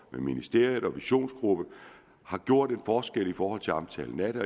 ministeriet og visionsgruppen har gjort en forskel i forhold til omtalen af det